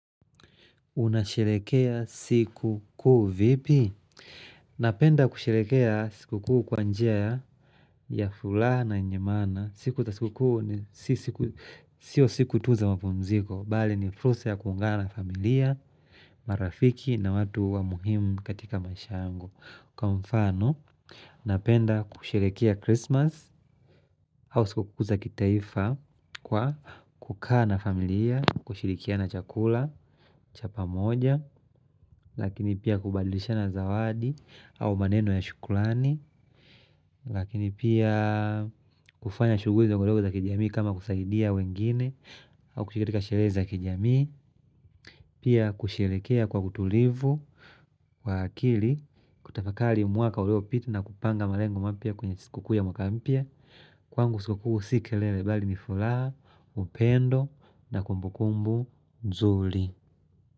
Unashrlekea siku kuu vipi? Napenda kusherekea siku kuu kwa njia ya furaha na yenye maana. Siku za siku kuu ni sio siku tu za mapumziko. Bali ni fursa ya kuungana na familia, marafiki na watu wa muhimu katika maisha yangu. Kwa mfano, napenda kusherehekea Christmas. Au siku kuu za kitaifa, kwa kukaa na familia kushirikiana chakula cha pamoja lakini pia kubadlishana zawadi au maneno ya shukurani lakini pia kufanya shughuli ndogo ndogo za kijamii kama kusaidia wengine au kushiriki katika sherehe za kijami pia kusherekea kwa utulivu wa akili, kutafakari mwaka uliopita na kupanga malengo mapya kwenye siku kuu ya mwaka mpya Kwangu siku kuu si kelele bali ni furaha, upendo na kumbukumbu nzuri.